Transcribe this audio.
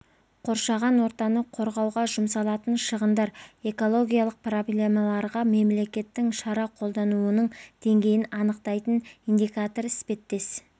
қоршаған ортаны қорғауға жұмсалатын шығындар экологиялық проблемаларға мемлекеттің шара қолданылуының деңгейін анықтайтын индикатор іспеттес